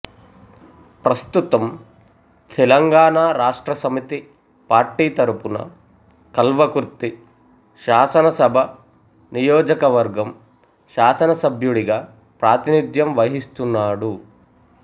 ప్రస్తుతం తెలంగాణ రాష్ట్ర సమితి పార్టీ తరపున కల్వకుర్తి శాసనసభ నియోజకవర్గం శాసన సభ్యుడిగా ప్రాతినిధ్యం వహిస్తున్నాడు